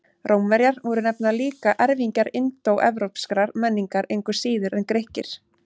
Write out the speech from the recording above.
Rómverjar voru nefnilega líka erfingjar indóevrópskrar menningar, engu síður en Grikkir.